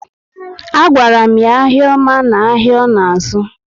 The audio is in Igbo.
A gwara m ya ahịa oma na áhiá ọ na azu